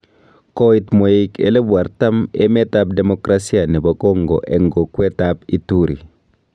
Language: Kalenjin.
Koit mweik 40000 emet ab Demokrasia nebo Congo eng kokwet ab Ituri